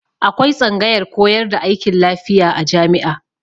Akwai tsangayar koyar da aikin lafiya a jami'a.